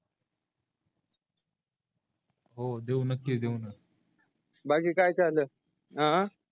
हो देऊ नक्की देऊ न बाकी काय चालू आहे अं